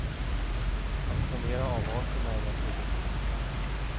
Att sanera avarterna är naturligtvis svårt.